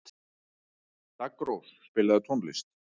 Daggrós, spilaðu tónlist.